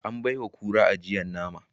An baiwa kura ajiyar nama